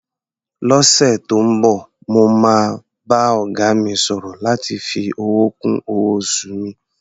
Lọ́sẹ̀ tó ń bọ̀, mo máa bá ọ̀gá mi sọ̀rọ̀ láti fi owó kún owó-oṣù mi.